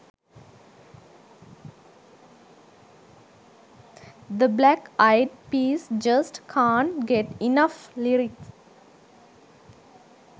the black eyed peas just cant get enough lyric